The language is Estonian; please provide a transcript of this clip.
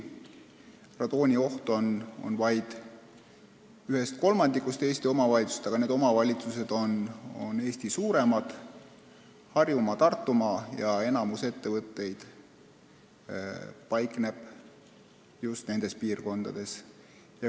Radoonioht on küll vaid ühes kolmandikus Eesti omavalitsustest, aga need omavalitsused on Eesti suurimad – Harjumaa, Tartumaa – ja enamik ettevõtteid paikneb just nendes piirkondades.